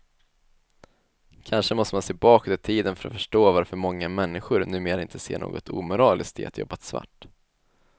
Kanske måste man se bakåt i tiden för att förstå varför många människor numera inte ser något omoraliskt i att jobba svart.